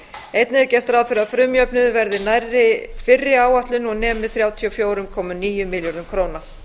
einnig er gert ráð fyrir að frumjöfnuður verði nærri fyrri áætlun og nemi þrjátíu og fjögur komma níu milljörðum króna